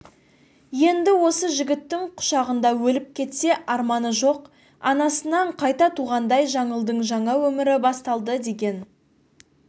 енді осы жігіттің құшағында өліп кетсе арманы жоқ анасынан қайта туғандай жаңылдың жаңа өмірі басталды деген